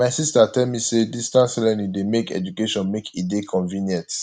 my sista tell me sey distance learning dey make education make e dey convenient